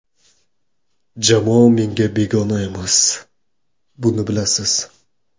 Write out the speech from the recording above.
Jamoa menga begona emas, buni bilasiz.